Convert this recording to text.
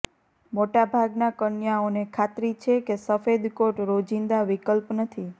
મોટા ભાગના કન્યાઓને ખાતરી છે કે સફેદ કોટ રોજિંદા વિકલ્પ નથી